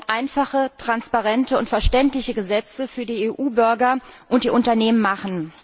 Wir wollen einfache, transparente und verständliche Gesetze für die EU Bürger und die Unternehmen machen.